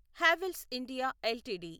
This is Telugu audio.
Havells India LTD